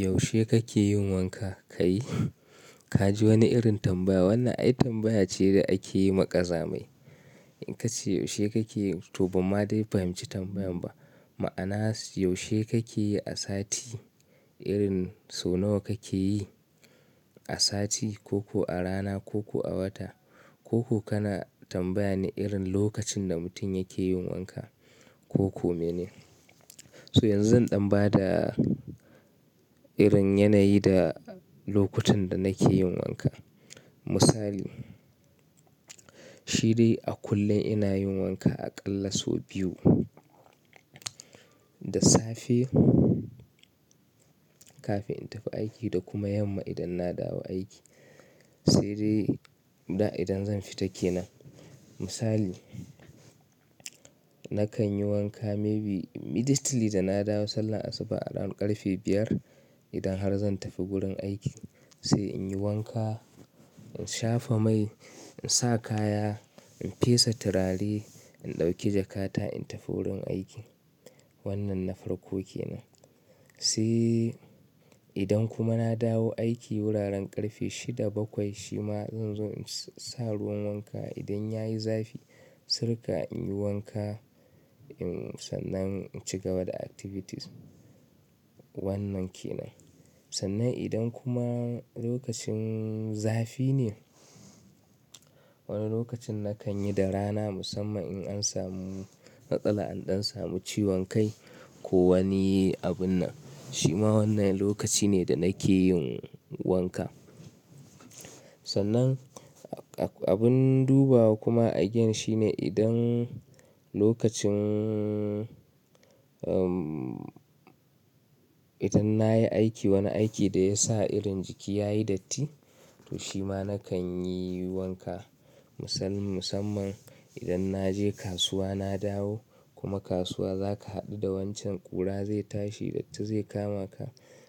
Yaushe kake yin wanka? Kai! Ka ji wani irin tambaya. Wannan ai tambaya ce da ake yi ma ƙazamai. In ka ce yaushe kake yi, to banma dai fahimci tambayan ba. Ma'ana yaushe kake yi a sati? Irin so nawa kake yi a sati ko-ko a rana ko-ko a wata? Ko-ko kana tambaya ne irin lokacin da mutum yake yin wanka ko-ko me ne. So yanzu zan ɗan ba da irin yanayi da lokutan da nake yin wanka. Misali, shi dai a kullum ina yin wanka a ƙalla sau biyu. Da safe kafin in tafi aiki da kuma yamma idan na dawo aiki. Sai dai da idan zan fita ke nan. Misali, nakan yi wanka maybe immediately da na dawo sannan asuba around ƙarfe biyar idan har zan tafi gurin aiki. Sai in yi wanka, in shafa mai, in sa kaya, in fesa turare, in ɗauki jakata, in tafi wurin aiki. Wannan na farko ke nan. Sai idan kuma na dawo aiki wuraren ƙarfe shida bakwai shi ma zan zo in sa ruwan wanka idan ya yi zafi, sirka in yi wanka, sannan in ci gaba da activities. Wannan ke nan. Sannan idan kuma lokacin zafi ne, wani lokacin nakan yi da rana musamman in an samu matsala, an ɗan samu ciwon kai ko wani abun nan. Shi ma wannan lokaci ne da nake yin wanka. Sannan abun dubawa kuma again shine idan lokacin, umm, idan na yi aiki wani aiki da ya sa irin jiki ya yi datti, to shi ma nakan yi wanka. Musamman idan na je kasuwa na dawo kuma kasuwa za ka haɗu da wancan ƙura zai tashi, datti zai kama ka.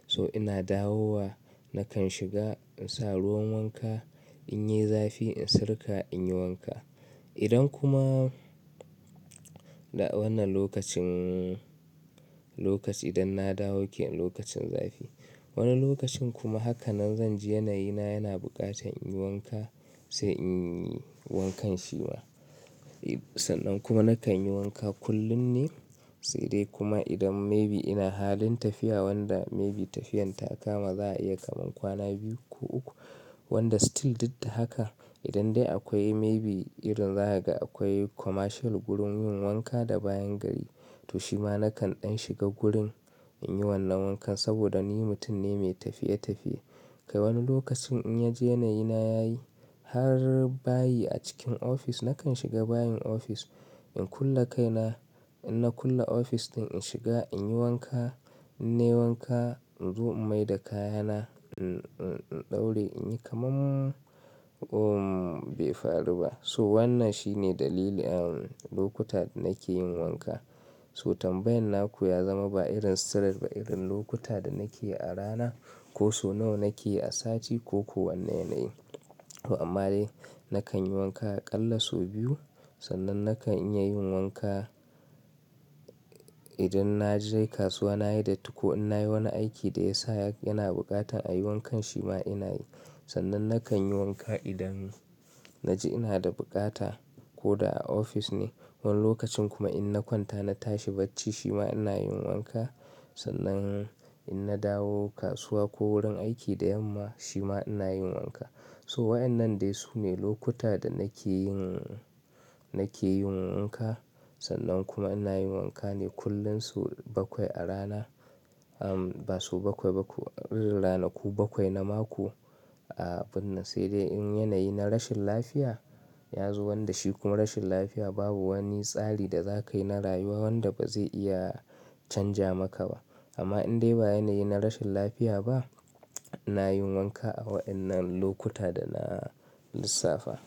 So ina dawowa nakan shiga in sa ruwan wanka, in yai zafi, in sirka, in yi wanka. Idan kuma da wannan lokacin, lokaci idan na dawo ke lokacin zafi. Wani lokacin kuma haka nan zan ji yanayi na yana buƙatan in yi wanka sai in yi wankan shi ma. Sannan kuma nakan yi wanka kullum ne sai dai kuma idan may be ina halin tafiya wanda may be tafiyan ta kama za a iya kaman kwana biyu ko uku. Wanda still dik da haka idan dai akwai may be irin za ga akwai commercial gurin yin wanka da bayan gari. To shi ma nakan ɗan shiga gurin in yi wannan wankan saboda ni mutum ne mai tafiye-tafiye. Kai wani lokacin in na ji yanayi na ya yi har bayi a cikin ofis nakan shiga bayin ofis, in kulle kai na, in na kulle ofis ɗin, in shiga, in yi wanka, in nai wanka, in zo in maida kaya na, in-in-in ɗauri, in yi kamar, umm, bai faru ba. So wannan shi ne dalilian lokuta da nake yin wanka. So tambayan naku ya zama ba irin sigar ba irin lokuta da nake yi a rana ko so nawa nake yi a sati ko ko wanne yanayi. To amma dai nakan yi wanka a ƙalla so biyu. Sannan nakan iya yin wanka idan na je kasuwa na yi datti ko in na yi wani aiki da ya sa yana buƙatan a yi wankan shi ma ina yi. Sannan nakan yi wanka idan na ji ina da bukata ko da a ofis ne. Wani lokacin kuma in na kwanta na tashi bacci shi ma ina yin wanka. Sannan in na dawo kasuwa ko wurin aiki da yamma shi ma ina yin wanka. So waɗannan dai su ne lokuta da nake yin, nake yin wanka. Sannan kuma ina yin wanka ne kullum so bakwai a rana. Umm, ba so bakwai ba ku ranaku bakwai na mako. A abun nan sai dai in yanayi na rashin lafiya ya zo wanda shi kuma rashin lafiya babu wani tsari da za ka yi na rayuwa wanda ba zai iya canja maka ba. Amma in dai ba yanayi na rashin lafiya ba, ina yin wanka a waɗannan lokuta da na lissafa.